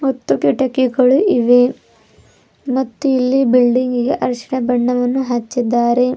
ಮತ್ತು ಕಿಟಕಿಗಳು ಇವೆ ಮತ್ತು ಇಲ್ಲಿ ಬಿಲ್ಡಿಂಗಿಗೆ ಅರಿಶಿನ ಬಣ್ಣವನ್ನು ಹಚ್ಚಿದ್ದಾರೆ.